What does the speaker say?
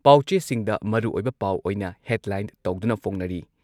ꯄꯥꯎꯆꯦꯁꯤꯡꯗ ꯃꯔꯨꯑꯣꯏꯕ ꯄꯥꯎ ꯑꯣꯏꯅ ꯍꯦꯗꯂꯥꯏꯟ ꯇꯧꯗꯨꯅ ꯐꯣꯡꯅꯔꯤ꯫